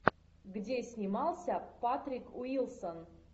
где снимался патрик уилсон